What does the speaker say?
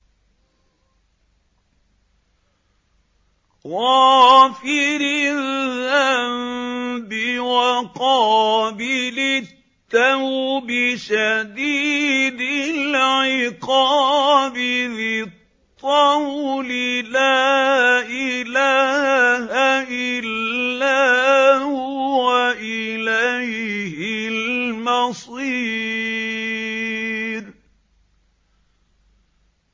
غَافِرِ الذَّنبِ وَقَابِلِ التَّوْبِ شَدِيدِ الْعِقَابِ ذِي الطَّوْلِ ۖ لَا إِلَٰهَ إِلَّا هُوَ ۖ إِلَيْهِ الْمَصِيرُ